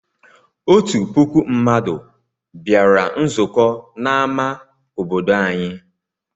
Otu puku mmadụ bịara nzukọ n'amá obodo anyị.